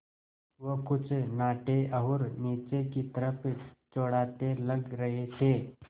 वो कुछ नाटे और नीचे की तरफ़ चौड़ाते लग रहे थे